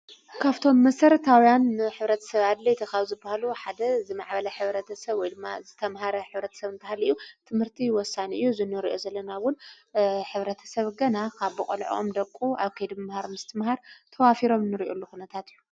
ካብቶም መስረታውያን ኅብረት ሰብ ኣድለይ ተኻብ ዝብሃሉ ሓደ ዝማዕበለ ኅብረተ ሰብ ወይልማ ዝተምሃረ ኅብረት ሰብ እንታሃልኡ ትምህርቲ ይወሳን እዩ ዝነርእኦ ዘለናውን ኅብረተ ሰብ ገና ካብ ቦቕልዕኦም ደቁ ኣብ ከይዲ ምምሃር ምስቲ ምሃር ተዋፊሮም ንርእየሉ ኹነታት እዩ።